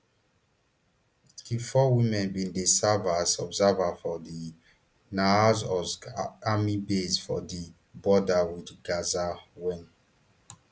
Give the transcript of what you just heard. di four women bin dey serve as observers for di nahal oz army base for di border wit gaza wen